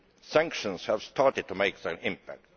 Sanctions have started to make their impact.